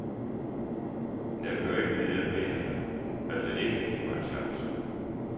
Men jeg kunne jo ikke vide, at medierne valgte ikke at give mig en chance.